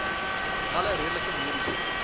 alle redelike mediese